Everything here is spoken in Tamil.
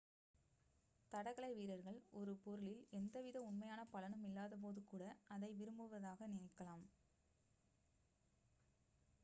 தடகள வீரர்கள் ஒரு பொருளில் எந்த வித உண்மையான பலனும் இல்லாத போது கூட அதை விரும்புவதாக நினைக்கலாம்